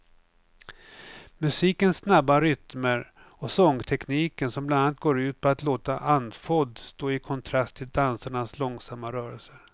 Musikens snabba rytmer och sångtekniken som bland annat går ut på att låta andfådd står i kontrast till dansarnas långsamma rörelser.